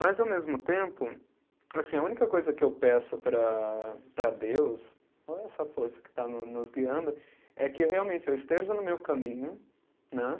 Mas ao mesmo tempo, assim, a única coisa que eu peço para para Deus, ou a essa força que está nos nos guiando, é que realmente eu esteja no meu caminho, né?